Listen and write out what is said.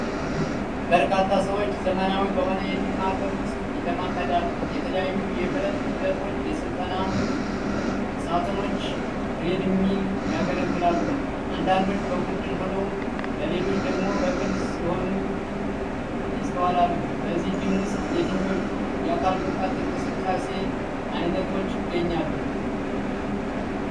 በርካታ ሰዎች ዘመናዊ በሆነ የጂም ማዕከል ውስጥ ይለማመዳሉ። የተለያዩ የብረት ክብደቶች፣ የሥልጠና ሳጥኖችና ትሬድሚል ያገለግላሉ። አንዳንዶች በቡድን ሆነው ሌሎች ደግሞ በግል ሲሠሩ ይስተዋላል። በዚህ ጂም ውስጥ የትኞቹ የአካል ብቃት እንቅስቃሴ ዓይነቶች ይገኛሉ?